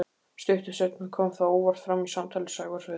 Stuttu seinna kom það óvart fram í samtali Sævars við